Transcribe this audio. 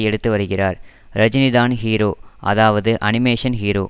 எடுத்து வருகிறார் ரஜினிதான் ஹீரோ அதாவது அனிமேஷன் ஹீரோ